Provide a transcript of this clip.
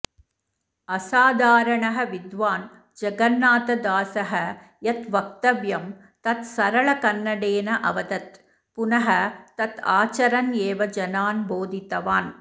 असाधारणः विद्वान् जगन्नाथदासः यत् वक्तव्यं तत् सरलकन्नडेन अवदत् पुनः तत् आचरन् एव जनान् बोधितवान्